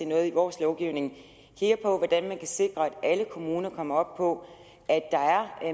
noget i vores lovgivning hvordan man kan sikre at alle kommuner kommer op på at der er